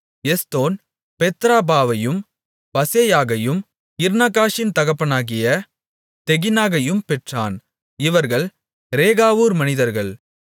எஸ்தோன் பெத்ராபாவையும் பசேயாகையும் இர்நாகாஷின் தகப்பனாகிய தெகினாகையும் பெற்றான் இவர்கள் ரேகாவூர் மனிதர்கள்